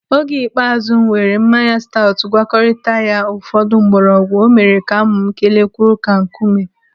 Oge ikpeazụ m weere mmanya staọtụ gwakọrita ya ụfọdụ mgbọrọgwụ, o mere amụ m kelie kwụrụ ka nkume.